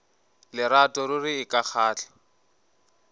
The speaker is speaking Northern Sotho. lerato ruri e ka kgahla